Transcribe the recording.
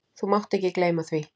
Þú mátt ekki gleyma því!